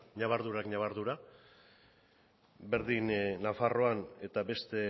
ñabardurak ñabardura berdin nafarroan eta beste